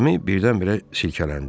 Kəmi birdən-birə silkələndi.